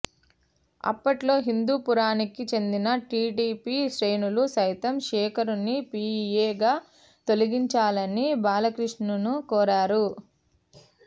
అప్పట్లో హిందూపురానికి చెందిన టీడీపీ శ్రేణులు సైతం శేఖర్ను పీఏగా తొలగించాలని బాలకృష్ణను కోరారు